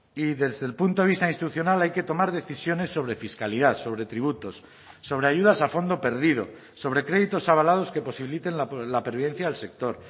y desde el punto de vista institucional hay que tomar decisiones sobre fiscalidad sobre tributos sobre ayudas a fondo perdido sobre créditos avalados que posibiliten la pervivencia del sector